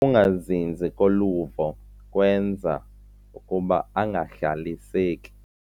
Ukungazinzi koluvo kwenza ukuba angahlaliseki.